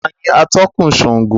Taàní atọ̀kun Sángo?